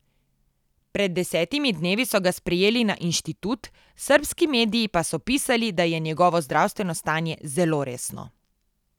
Pred desetimi dnevi so ga sprejeli na inštitut, srbski mediji pa so pisali, da je njegovo zdravstveno stanje zelo resno.